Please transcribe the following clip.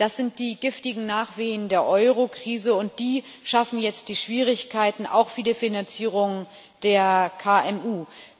Das sind die giftigen Nachwehen der Eurokrise, und die schaffen jetzt die Schwierigkeiten auch für die Finanzierung der KMU.